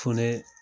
Fonɛnɛ